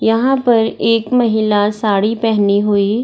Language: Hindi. यहाँ पर एक महिला साड़ी पहनी हुई --